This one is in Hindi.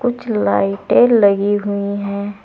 जो लाइटें लगी हुई हैं।